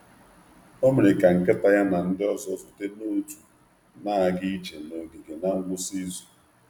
Ọ mere ka nkịta ya na ndị ọzọ zute n’òtù na-aga ije n’ogige na ngwụsị izu.